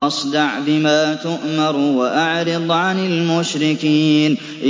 فَاصْدَعْ بِمَا تُؤْمَرُ وَأَعْرِضْ عَنِ الْمُشْرِكِينَ